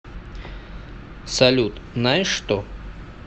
салют наешь что